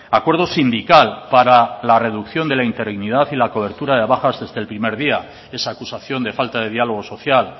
acuerdo sindical para la reducción de la interinidad y la cobertura de bajas desde el primer día esa acusación de falta de diálogo social